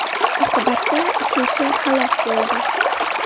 Oqibatda uchuvchi halok bo‘ldi.